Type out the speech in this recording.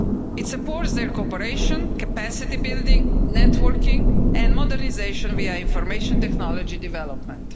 It supports their cooperation, capacity-building, networking and modernisation via information technology development.